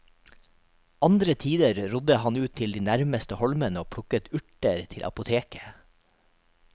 Andre tider rodde han ut til de nærmeste holmene og plukket urter til apoteket.